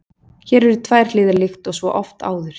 Hér eru tvær hliðar líkt og svo oft áður.